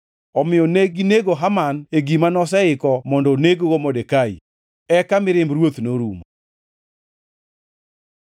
Omiyo neginego Haman e gima noseiko mondo oneg-go Modekai. Eka mirimb ruoth norumo.